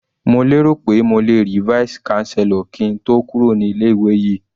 Mo lérò pé mo lè rí Vice chancellor kí n tó kúrò ní ilé ìwé yìí.